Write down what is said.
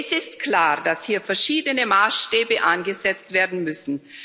Es ist klar, dass hier verschiedene Maßstäbe angesetzt werden müssen.